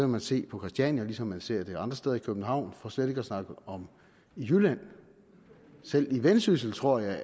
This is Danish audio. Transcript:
man se på christiania ligesom man ser det andre steder i københavn for slet ikke at snakke om i jylland selv i vendsyssel tror jeg